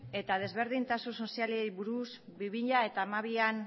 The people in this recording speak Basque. eta desberdintasun sozialei buruz bi mila hamabian